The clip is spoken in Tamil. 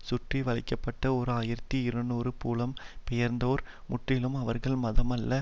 சுற்றி வளைக்க பட்ட ஓர் ஆயிரத்தி இருநூறு புலம் பெயர்ந்தோர் முற்றிலும் அவர்கல் மதம் அல்லது